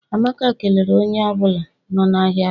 Amaka kelere onye ọ bụla nọ n'ahịa taa.